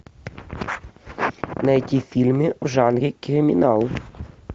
найти фильмы в жанре криминал